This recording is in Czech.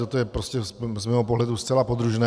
Toto je prostě z mého pohledu zcela podružné.